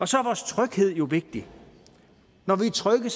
så er vores tryghed jo vigtig når vi er trygge